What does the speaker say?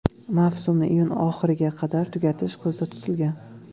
Mavsumni iyun oxiriga qadar tugatish ko‘zda tutilgan.